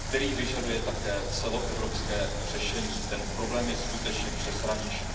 který vyžaduje také celoevropské řešení, ten problém je skutečně přeshraniční.